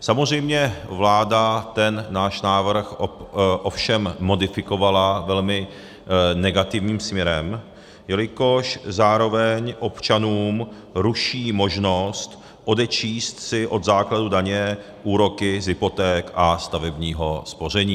Samozřejmě vláda ten náš návrh ovšem modifikovala velmi negativním směrem, jelikož zároveň občanům ruší možnost odečíst si od základu daně úroky z hypoték a stavebního spoření.